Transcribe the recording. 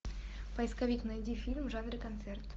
поисковик найди фильм в жанре концерт